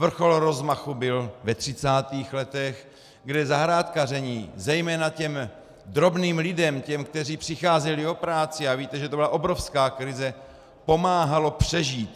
Vrchol rozmachu byl ve 30. letech, kde zahrádkaření zejména těm drobným lidem, těm, kteří přicházeli o práci, a víte, že to byla obrovská krize, pomáhalo přežít.